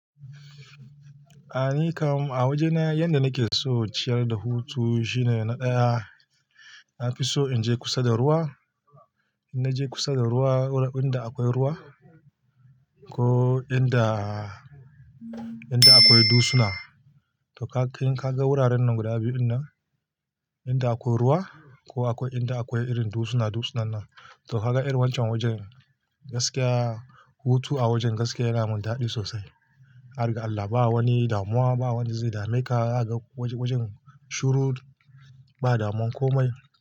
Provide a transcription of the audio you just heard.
A ni kam a waje na yanda nake so ciyar da hutu shine na ɗaya, na fi so in je kusa da ruwa. In naje kusa da ruwa, wurin inda akwai ruwa ko inda, inda akwai dusuna. To ka, in ka ga wuraren nan guda biyu dinnan, inda akwai ruwa ko akwai inda akwai irin dusuna dusunannan. To ka ga irin wanchan wajen gaskiya hutu a wajen gaskiya yana mun daɗi sosai. Har ga Allah ba wani damuwa, ba wanda zai dame ka. Za ka ga wajen shuru, ba damun komai.